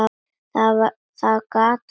Það gat varla verið.